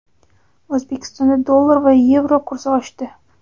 O‘zbekistonda dollar va yevro kursi oshdi.